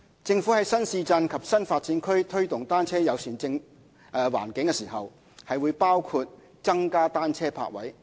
政府在新市鎮及新發展區推動"單車友善"環境時，會包括增加單車泊位。